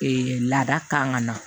laada kan ka na